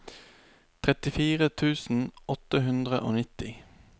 trettifire tusen åtte hundre og nitti